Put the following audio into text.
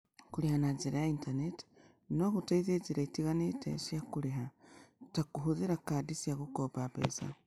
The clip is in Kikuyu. Kũrĩha na njĩra ya Intaneti no gũteithie njĩra itiganĩte cia kũrĩha , ta kũhũthĩra kadi cia gũkomba mbeca.